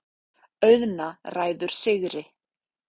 Auðna ræður sigri.